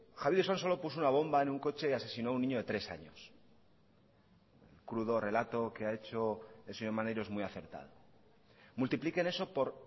javi de usansolo puso una bomba en un coche y asesino un niño de tres años el crudo relato que ha hecho el señor maneiro es muy acertado multiplíquele eso por